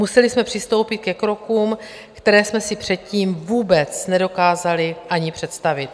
Museli jsme přistoupit ke krokům, které jsme si předtím vůbec nedokázali ani představit.